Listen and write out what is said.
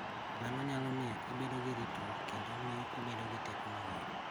Mano nyalo miyo ibed gi ritruok kendo miyo ibedo gi teko mang�eny.